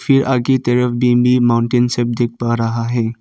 आगे की तरफ माउंटेन सब दिख पा रहा है।